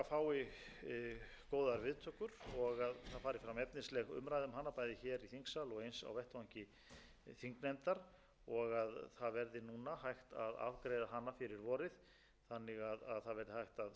viðtökur og að það fari fram efnisleg umræða um hana bæði hér í þingsal og eins á vettvangi þingnefndar og að það verði núna hægt að afgreiða hana fyrir vorið þannig að það verði hægt að setja þessa vinnu